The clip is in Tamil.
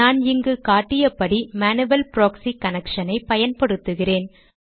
நான் இங்கு காட்டிய படி மேனுவல் ப்ராக்ஸி கனெக்ஷனை பயன்படுத்துகிறேன்